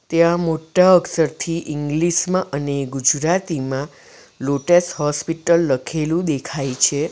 ત્યાં મોટા અક્ષરથી ઇંગ્લિસ માં અને ગુજરાતીમાં લોટેસ હોસ્પિટલ લખેલું દેખાય છે.